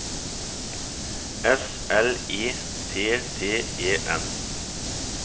S L E T T E N